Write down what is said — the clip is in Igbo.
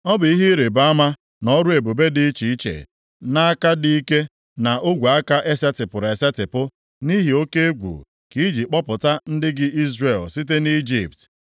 Ọ bụ ihe ịrịbama na ọrụ ebube dị iche iche, nʼaka dị ike, na ogwe aka e setịpụrụ esetipụ, nʼihe oke egwu, ka i ji kpọpụta ndị gị Izrel site nʼIjipt.